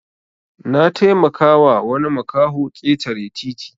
Nataimaka wa wani makaho ketare titi